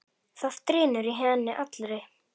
Það drynur í henni allri.